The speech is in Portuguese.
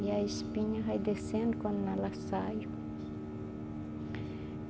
E a espinha vai descendo quando ela sai.